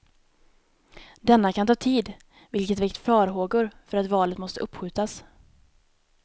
Denna kan ta tid, vilket väckt farhågor för att valet måste uppskjutas.